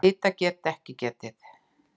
Hita er ekki getið.